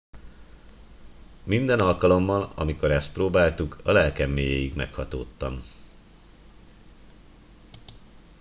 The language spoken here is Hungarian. minden alkalommal amikor ezt próbáltuk a lelkem mélyéig meghatódtam